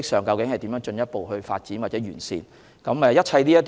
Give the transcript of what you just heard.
究竟可如何進一步發展或完善這方面的模式呢？